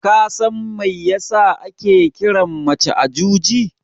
Kasan mai yasa ake kiran mace Ajuji?